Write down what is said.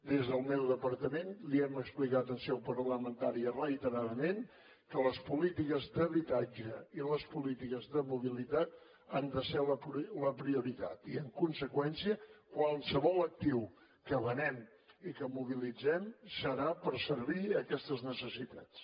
des del meu departament li hem explicat en seu parlamentària reiteradament que les polítiques d’habitatge i les polítiques de mobilitat han de ser la prioritat i en conseqüència qualsevol actiu que venguem i que mobilitzem serà per servir aquestes necessitats